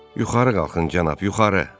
Yuxarı qalxın, cənab, yuxarı.